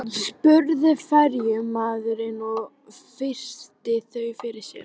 spurði ferjumaðurinn og virti þau fyrir sér.